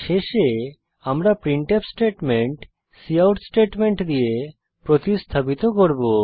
শেষে আমরা printf statement cout statement দিয়ে প্রতিস্থাপিত করব